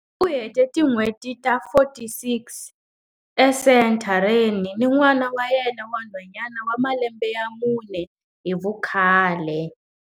U hete tin'hweti ta 46 esenthareni ni n'wana wa yena wa nhwanyana wa malembe ya mune hi vukhale.